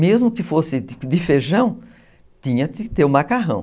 Mesmo que fosse de feijão, tinha que ter o macarrão.